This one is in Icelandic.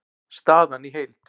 Staðan í heild